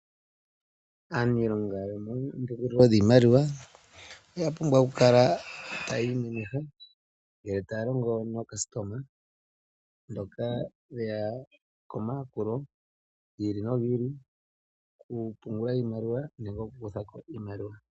Aniilonga yomoombelewa dhimaliwa oya pumbwa oku kala tayi imemeha ngele taya longo naayakulwa mboka yeya komayakulo gokupungula nenge goku kutha ko iimaliwa.